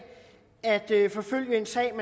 at forfølge en sag